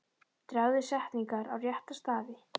Dragðu setningar á rétta staði.